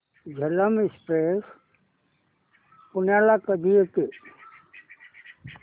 Jhelum express पुण्याला कधी येते